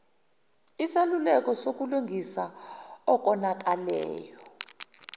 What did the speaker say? isaluleko sokulungisa okonakeleyo